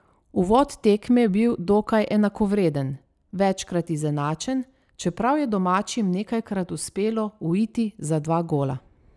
Uvod tekme je bil dokaj enakovreden, večkrat izenačen, čeprav je domačim nekajkrat uspelo uiti za dva gola.